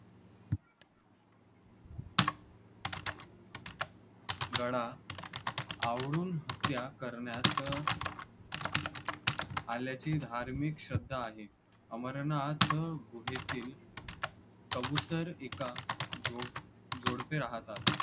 गळा आवळून हत्या करण्यात आल्याची धार्मिक श्रद्धा आहे. अमरनाथ गुहेतील कबुतर एका जो जोडपे राहतात.